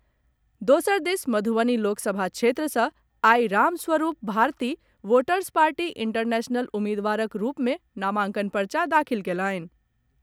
दोसर दिस मधुवनी लोक सभा क्षेत्र सॅ आइ Ram Swaroop Bharti voters party international उम्मीदवारक रूप में नामांकन पर्चा दाखिल कयलनि।